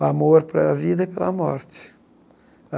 O amor pela vida e pela morte.